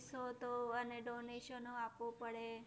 ફિસો તો! અને donation આપવું પડે